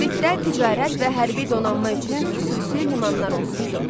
Kritdə ticarət və hərbi donanma üçün xüsusi limanlar olmuşdu.